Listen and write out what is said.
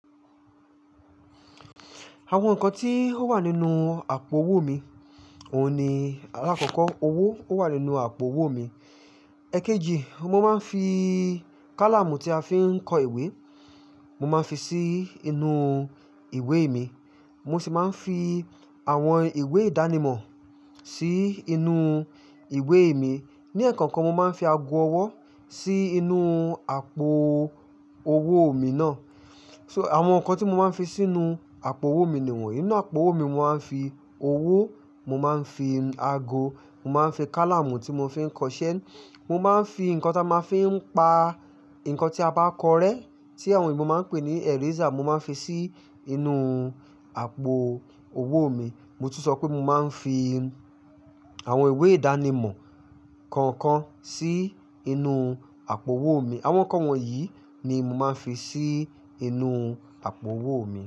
Àwọn nǹkan tí ó wà nínú àpò owó mi, òun ni, alákọ̀ọ́kọ́ owó ó wà nínú àpò owó mi. Ẹ̀keji, mo máa ń fi kálàmù tí a fi ń kọ ìwé, mo máa ń fi sí inú ìwé mi. Mo sì máa ń fi àwọn ìwé ìdánimọ̀ sí inú ìwé mi. Ni ẹẹ̀kan kan, mo máa ń fi ago ọwọ́ sí inú àpò owó mi náà. So àwọn nǹkan tí mo máa ń fi sínú àpò owó mi ni wọ́n yí. Inú àpò owó mi, mo máa ń fi owó, mo máa ń fi ago, mo máa ń fi kálàmù tí mo fi ń kọ ṣẹ́, mo máa ń fi nǹkan tí a máa ń fi pa nǹkan tí a bá kọ rẹ́ tí àwọn òyìnbó máa ń pè ní eraser, mo máa ń fi sí inú àpò owó mi. Mo tún sọ pé mo máa ń fi àwọn ìwé ìdánimọ̀ kọ̀ọ̀kan sí inú àpò owó mi. Àwọn nǹkan wọ̀nyí ni mo máa ń fi sí inú àpò owó mi.